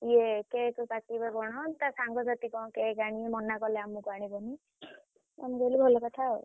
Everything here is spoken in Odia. ଏଇ cake କାଟିବେ କଣ ତା ସାଙ୍ଗସାଥୀ କଣ cake ଆଣିବେ ମନା କଲେ ଆମକୁ ଆଣିବନି ଆମେ କହିଲୁ ଭଲ କଥା ଆଉ।